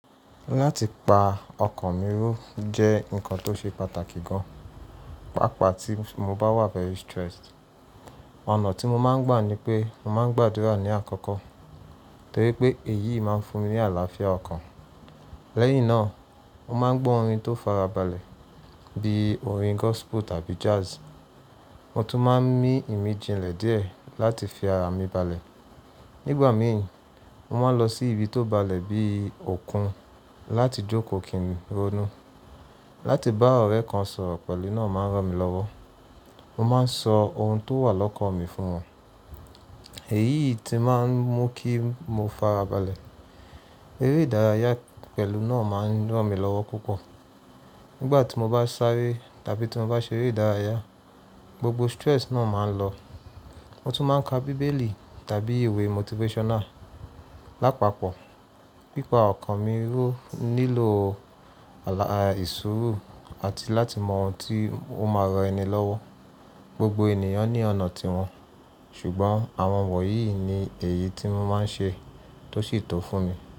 Láti pa ọkàn mi ró jẹ́ ǹkan tó ṣe pàtàkì gan, pàápàá tí mo bá wà very stressed. Ọ̀nà tí mo máa ń gbà ni pé mo máa ń gbàdúrà ní àkọ́kọ́, torí pé èyí máa ń fún mi ní àlàáfíà ọkàn. Lẹ́yìn náà, mo máa ń gbọ́ orin tó fara balẹ̀ bí i orin gospel tàbí jazz. Mo tún máa ń mí ìmìjìnlẹ̀ díẹ̀ láti fi ara mi balẹ̀. Nígbà mìí, mo máa ń lọ sí ibi tó balẹ̀ bí i òkun láti jókòó kí n rónú. Láti bá ọ̀rẹ́ kan sọ̀rọ̀ pẹ̀lú náà máa ń ran mi lọ́wọ́. Mo máa ń sọ ohun tó wà lọ́kàn mi fún wọn. Èyí tí máa ń mú kí mo fara balẹ̀. Eré ìdárayá pẹ̀lú náà máa ń ran mi lọ́wọ́ púpọ̀. Nígbà tí mo bá sáré tàbí tí mo bá ṣeré ìdárayá, gbogbo stress náà máa ń lọ. Mo tún máa ń ka bíbélì tàbí ìwé motivational. Lápapọ̀, pípa ọkàn mi ró nílò ah ṣuuru àti láti mọ oun tí ó máa ran ẹni lọ́wọ́. Gbogbo ènìyàn ní ọ̀nà tiwọn, ṣùgbọ́n àwọn wọ̀nyí ni èyí tí mo máa ń ṣe tó sì to fún mi.